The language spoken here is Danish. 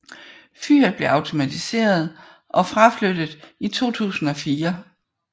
Fyret blev automatiseret og fraflyttet i 2004